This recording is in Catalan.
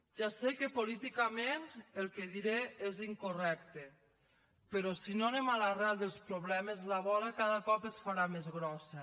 ja sé que políticament el que diré és incorrecte però si no anem a l’arrel dels problemes la bola cada cop es farà més grossa